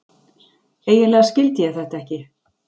Eiginlega skildi ég þetta ekki.